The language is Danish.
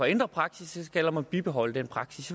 ændre praksis eller om man skal bibeholde den praksis